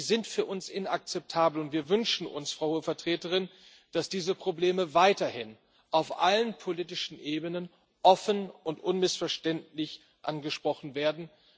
sind für uns inakzeptabel, und wir wünschen uns, Frau Hohe Vertreterin, dass diese Probleme weiterhin auf allen politischen Ebenen offen und unmissverständlich angesprochen werden.